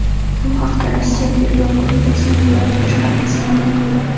Bu haqda Rossiya Tergov qo‘mitasining viloyat boshqarmasi ma’lum qildi .